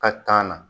Ka tan na